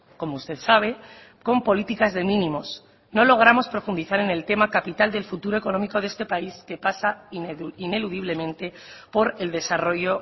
como usted sabe con políticas de mínimos no logramos profundizar en el tema capital del futuro económico de este país que pasa ineludiblemente por el desarrollo